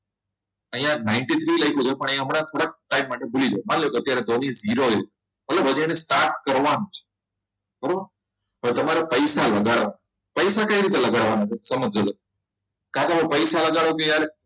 અહીંયા ninty three લખ્યું છે પણ અહીંયા થોડા ટાઈમ માટે ભૂલી જવાનું માની લ્યો અત્યારે ધોની zero એ હવે હજી એને start કરવાનું બરાબર હવે તમારે પૈસા લગાડવા છે પૈસા કઈ રીતે લગાડવાના છે તો સમજજો કાકાઓ પૈસા લગાવ્યો ને યાર